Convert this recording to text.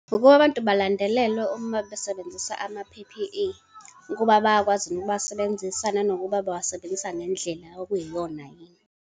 Ukuba abantu balandelelwe uma besebenzisa ama-P_P_E, ukuba bayakwazi yini ukuwasebenzisa, nanokuba bawasebenzisa ngendlela okuyiyona yini.